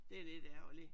Det er lidt ærgerligt